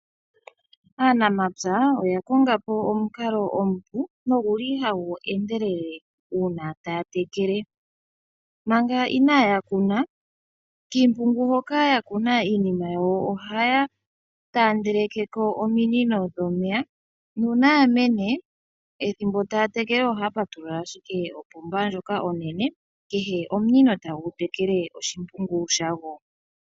Aanamapya oya konga po omukalo omupu noguli hagu endelele uuna taya tekele. Manga inaaya kuna, kiimpungu hoka ya kuna iinima yawo ohaya taandeleke ko ominino dhomeya, nuuna ya mene ethimbo taya tekele ohaya patulula ashike opomba ndjoka onene, kehe omunino tagu tekele oshimpungu shago.